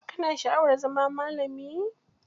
Ka na sha'awar zama malami?